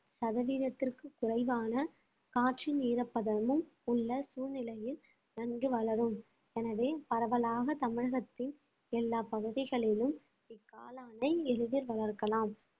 சதவீதத்திற்கு குறைவான காற்றின் ஈரப்பதமும் உள்ள சூழ்நிலையில் நன்கு வளரும் எனவே பரவலாக தமிழகத்தின் எல்லா பகுதிகளிலும் இக்காளானை எளிதில் வளர்க்கலாம்